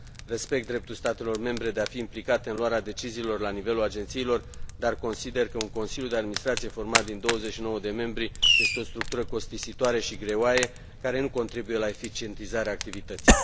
Respect dreptul statelor membre de a fi implicate în luare deciziilor la nivelul agențiilor, dar consider că un consiliu de administrație format din 29 de membri este o structură costisitoare și greoaie, care nu contribuie la eficientizarea activității.